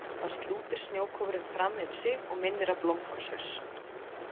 Þá slútir snjókúfurinn fram yfir sig og minnir á blómkálshaus.